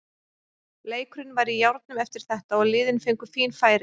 Leikurinn var í járnum eftir þetta og liðin fengu fín færi.